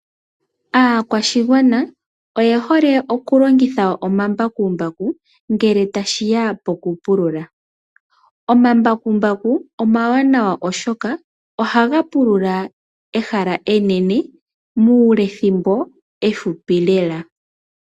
Aakwashigwana oye hole oku longitha omambakumbaku ngele tashiya poku pulula. Omambakumbaku omawanawa oshoka ohaga pulula ehala enene muulethimbo efupi lela.